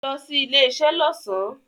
Lo sí ilé isé lọ́sàn